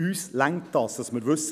Uns reicht es, zu wissen: